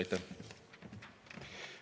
Aitäh!